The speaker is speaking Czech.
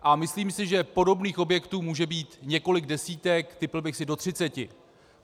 A myslím si, že podobných objektů může být několik desítek, tipl bych si do třiceti.